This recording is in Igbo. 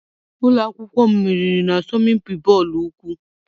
Ụlọ akwụkwọ m meriri na-asọmpi bọọlụ ụkwụ.